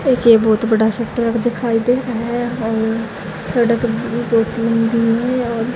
एक ये बहोत बड़ा सब ट्रक दिखाई दे रहा है और सड़क भी दो तीन भी है और--